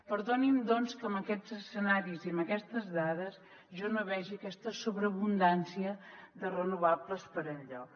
perdoni’m doncs que amb aquests escenaris i amb aquestes dades jo no vegi aquesta sobreabundància de renovables per enlloc